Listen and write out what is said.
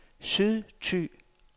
Sydthy